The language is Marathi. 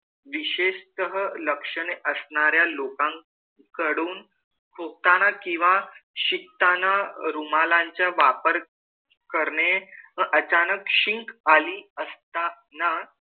विशेषतः लक्षणे असणाऱ्या लोकांकडून खोकताना किंवा शिंकताना रुमालांच्या वापर करणे व अचानक शिंक आली असताना,